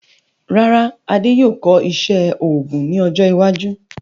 Rárá, Adé yóò kọ́ iṣẹ́ òògùn ní ọjọ́ iwájú